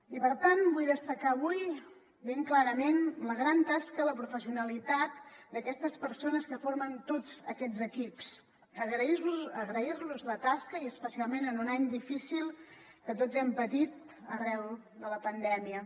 i per tant vull destacar avui ben clarament la gran tasca la professionalitat d’aquestes persones que formen tots aquests equips i agrair los la tasca especialment en un any difícil que tots hem patit arran de la pandèmia